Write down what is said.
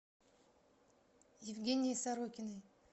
евгенией сорокиной